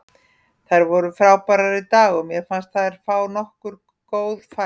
Þær voru frábærar í dag og mér fannst þær fá nokkur góð færi.